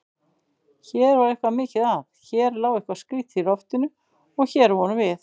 Hér var eitthvað mikið að, hér lá eitthvað skrýtið í loftinu- og hér vorum við.